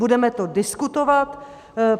Budeme to diskutovat.